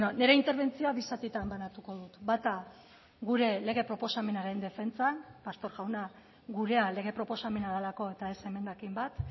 nire interbentzioa bi zatitan banatuko dut bata gure lege proposamenaren defentsan pastor jauna gurea lege proposamena delako eta ez emendakin bat